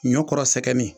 Ɲɔ kɔrɔ sɛgɛn